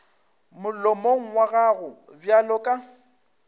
molomong wa gago bjalo ka